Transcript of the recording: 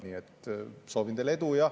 Nii et soovin teile edu.